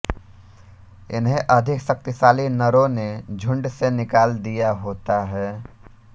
इन्हें अधिक शक्तिशाली नरों ने झुण्ड से निकाल दिया होता है